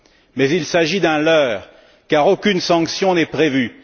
Mais il s'agit d'un leurre, car aucune sanction n'est prévue.